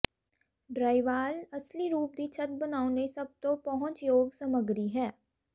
drywall ਅਸਲੀ ਰੂਪ ਦੀ ਛੱਤ ਬਣਾਉਣ ਲਈ ਸਭ ਤੋਂ ਪਹੁੰਚਯੋਗ ਸਮੱਗਰੀ ਹੈ